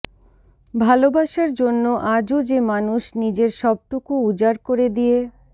ভালবাসার জন্য আজও যে মানুষ নিজের সবটুকু উজার করে দিয়ে